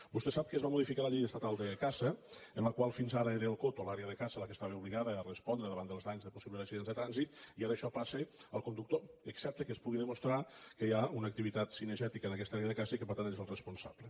vostè sap que es va modificar la llei estatal de caça en la qual fins ara era el cotoque estava obligada a respondre davant dels danys de possibles accidents de trànsit i ara això passa al conductor excepte que es pugui demostrar que hi ha una activitat cinegètica en aquesta àrea de caça i que per tant n’és el responsable